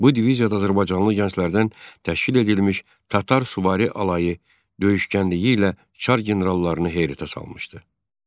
Bu diviziyada azərbaycanlı gənclərdən təşkil edilmiş Tatar süvari alayı döyüşkənliyi ilə çar generallarını heyrətə salmışdı.